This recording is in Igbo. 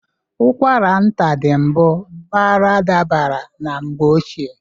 Ụkwara nta dị bụ baradabara na mgbe ochie.